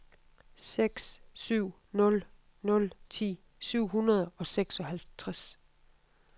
seks syv nul nul ti syv hundrede og seksoghalvtreds